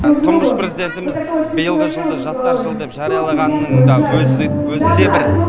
тұңғыш президентіміз биылғы жылды жастар жылы деп жариялағанының да өзі де бір